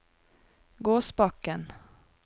Gåsbakken